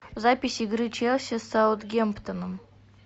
запись игры челси с саутгемптоном